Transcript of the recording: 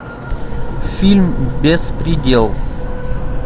фильм беспредел